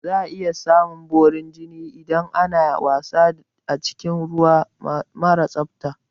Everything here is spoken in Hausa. Za a iya samun borin jini idan ana wasa a cikin ruwa mara tsafta